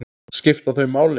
Skipta þau máli?